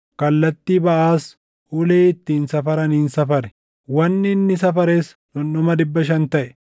Kallattii baʼaas ulee ittiin safaraniin safare; wanni inni safares dhundhuma dhibba shan taʼe.